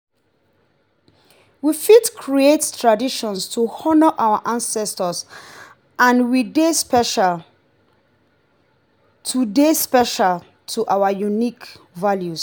we fit create traditions to honor our ancestors and wey dey special to dey special to our unique values